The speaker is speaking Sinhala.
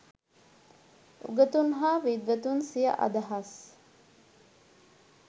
උගතුන් හා විද්වතුන් සිය අදහස්